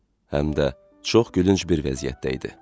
Həm də çox gülünc bir vəziyyətdə idi.